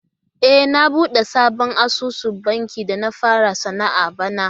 E, na buɗe sabon asusun banki da na fara sana'a bana.